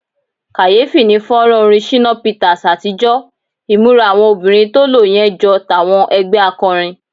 Kàyéfì ni fọ́nrán orin Shina Peters àtijọ́, ìmúra àwọn obìnrin tó lo yẹn jọ tàwọn ẹgbẹ́ akọrin.